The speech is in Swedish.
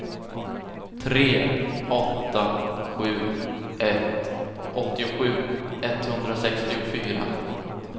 tre åtta sju ett åttiosju etthundrasextiofyra